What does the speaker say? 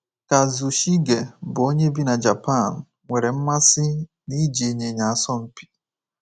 Kazushige, bụ́ onye bi na Japan, nwere mmasị n’iji ịnyịnya asọ mpi.